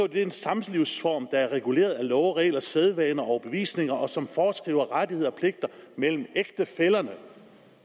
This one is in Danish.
det er en samlivsform der er reguleret af love regler sædvane og overbevisning og som foreskriver rettigheder og pligter mellem ægtefællerne